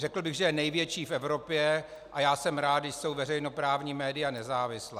Řekl bych, že je největší v Evropě a já jsem rád, když jsou veřejnoprávní média nezávislá.